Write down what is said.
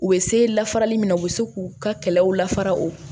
U bɛ se la farali min na u bɛ se k'u ka kɛlɛw lafara o